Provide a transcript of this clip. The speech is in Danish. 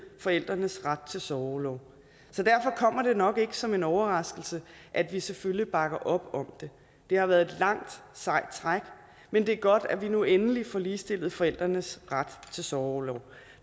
forældrenes ret til sorgorlov så derfor kommer det nok ikke som en overraskelse at vi selvfølgelig bakker op om det det har været et langt sejt træk men det er godt at vi nu endelig får ligestillet forældrenes ret til sorgorlov